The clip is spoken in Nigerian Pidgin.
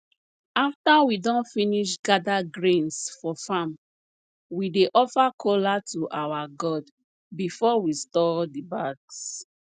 after we don finish gather grains for farm we dey offer kola to our god before we store the bags